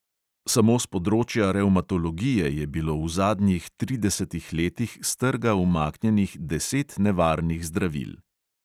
Samo s področja revmatologije je bilo v zadnjih tridesetih letih s trga umaknjenih deset nevarnih zdravil.